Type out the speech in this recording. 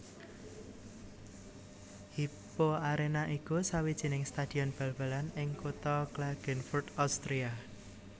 Hypo Arena iku sawijining stadion bal balan ing kutha Klagenfurt Austria